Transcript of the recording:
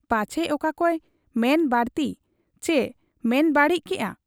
ᱯᱟᱪᱷᱮ ᱚᱠᱟᱠᱚᱭ ᱢᱮᱱ ᱵᱟᱹᱲᱛᱤ ᱪᱤ ᱢᱮᱱ ᱵᱟᱹᱲᱤᱡ ᱠᱮᱜ ᱟ ?